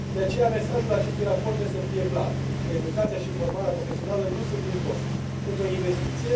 De aceea, mesajul acestui raport trebuie să fie clar educația și formarea profesională nu sunt un cost, sunt o investiție